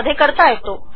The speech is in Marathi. मध्ये करता येतो